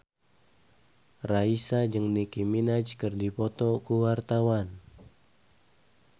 Raisa jeung Nicky Minaj keur dipoto ku wartawan